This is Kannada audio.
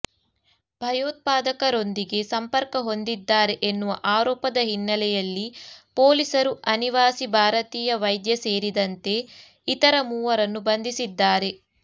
ಭಯೋತ್ಪಾದಕರೊಂದಿಗೆ ಸಂಪರ್ಕ ಹೊಂದಿದ್ದಾರೆ ಎನ್ನುವ ಆರೋಪದ ಹಿನ್ನೆಲೆಯಲ್ಲಿ ಪೊಲೀಸರು ಅನಿವಾಸಿ ಭಾರತೀಯ ವೈದ್ಯ ಸೇರಿದಂತೆ ಇತರ ಮೂವರನ್ನು ಬಂಧಿಸಿದ್ದಾರೆ